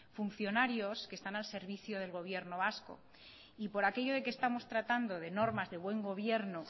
funcionarios que están al servicio del gobierno vasco y por aquello de que estamos tratando de normas de buen gobierno